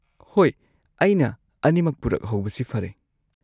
-ꯍꯣꯏ, ꯑꯩꯅ ꯑꯅꯤꯃꯛ ꯄꯨꯔꯛꯍꯧꯕꯁꯤ ꯐꯔꯦ꯫